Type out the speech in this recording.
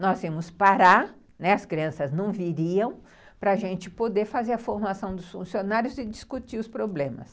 Nós íamos parar, né, as crianças não viriam, para a gente poder fazer a formação dos funcionários e discutir os problemas.